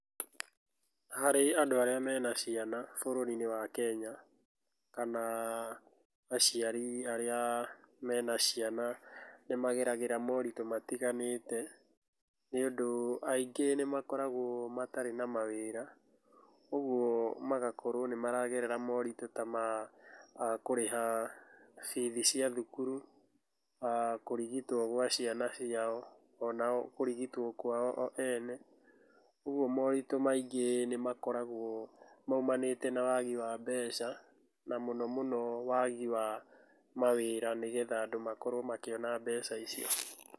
Harĩ andũ arĩa mena ciana bũrũri-inĩ wa Kenya, kana aciari arĩa mena ciana nĩ mageragĩra moritũ matiganĩte, nĩũndũ aingĩ nĩ makoragũo matarĩ na mawĩra. Ũguo magakorũo nĩ maragerera moritũ ta ma kũrĩha bithi cia thukuru, kũrigitũo gwa ciana ciao, ona o kũrigitũo kwao o ene. Ũguo moritũ maingĩ makoragũo moimanĩte na wagi wa mbeca, na mũno mũno wagi wa mawĩra nĩgetha andũ makorwo makĩona mbeca icio.